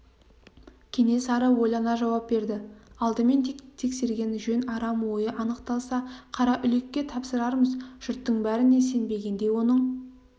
кенесары ойлана жауап берді алдымен тексерген жөн арам ойы анықталса қараүлекке тапсырармыз жұрттың бәріне сенбегендей оның